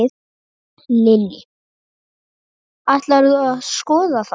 Lillý: Ætlarðu að skoða þá?